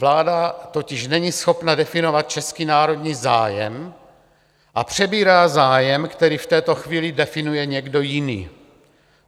Vláda totiž není schopna definovat český národní zájem a přebírá zájem, který v této chvíli definuje někdo jiný.